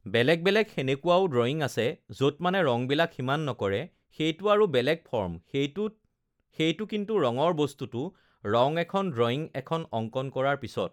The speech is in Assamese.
বেলেগ বেলেগ সেনেকুৱাও ড্ৰয়িং আছে য'ত মানে ৰঙবিলাক সিমান নকৰে সেইটো আৰু বেলেগ ফৰ্ম সেইটোত সেইটো কিন্তু ৰঙৰ বস্তুটো ৰঙ এখন ড্ৰয়িং এখন অংকণ কৰাৰ পিছত